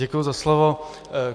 Děkuji za slovo.